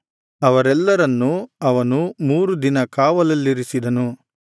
ಅವರೆಲ್ಲರನ್ನು ಅವನು ಮೂರು ದಿನ ಕಾವಲಿನಲ್ಲಿರಿಸಿದನು